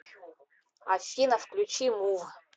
афина включи мув